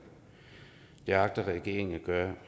det agter regeringen at gøre